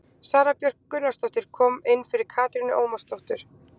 Sara Björk Gunnarsdóttir kom inn fyrir Katrínu Ómarsdóttur.